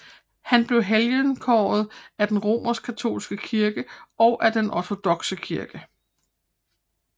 Han blev helgenkåret af den romerskkatolske kirke og af den ortodokse kirke